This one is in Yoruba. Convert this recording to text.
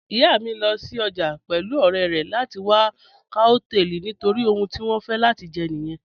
Iyà mi lọ sí ọjà pẹ̀lú ọ̀rẹ̀ rẹ̀ lati wà cọwtail̀ nitori ohun ti wọn fẹ̀ lati jẹ̀ niyẹn.